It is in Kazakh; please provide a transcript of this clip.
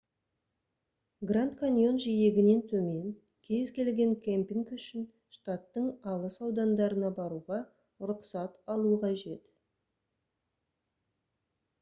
гранд каньон жиегінен төмен кез келген кемпинг үшін штаттың алыс аудандарына баруға рұқсат алу қажет